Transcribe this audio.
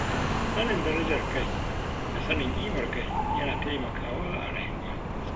Sanin darajar kai da sanin ƙimar kai, yana taimakawa a rayuwa.